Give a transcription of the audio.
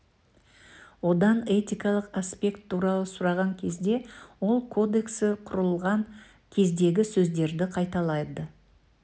одан этикалық аспект туралы сұраған кезде ол кодексі құрылған кездегі сөздерді қайталады